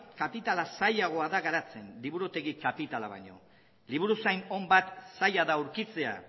kapitala zailagoa da garatzen liburutegi kapitala baino liburuzain on bat zaila da aurkitzea